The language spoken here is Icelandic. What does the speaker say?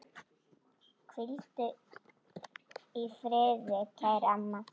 Hvíldu í friði, kæra amma.